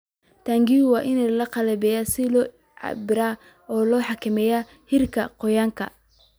Taangiyada waa in la qalabeeyaa si loo cabbiro loona xakameeyo heerarka qoyaanka.